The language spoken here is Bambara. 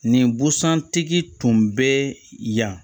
Nin busan tigi tun bɛ yan